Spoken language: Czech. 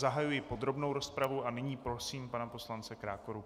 Zahajuji podrobnou rozpravu a nyní prosím pana poslance Krákoru.